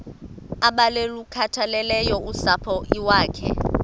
abalukhathaleleyo usapho iwakhe